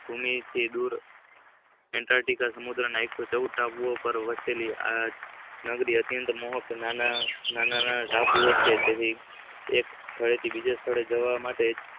મૂળભૂમિ થી દૂર એટ્ટિકા સમુધ્રના એક સો ચૌઉદ ટાપુઓના વચ્ચે અતિયાત મોહકનામના નાના નાના ટાપુઓ છે એક સ્થળે થી બીજા સ્થળે જવા માટે